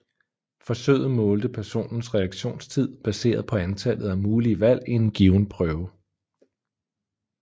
Forsøget målte personens reaktionstid baseret på antallet af mulige valg i en given prøve